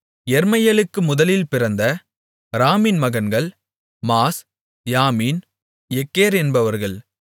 யெர்மெயேலுக்கு முதலில் பிறந்த ராமின் மகன்கள் மாஸ் யாமின் எக்கேர் என்பவர்கள்